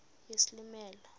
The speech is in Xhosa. yesilimela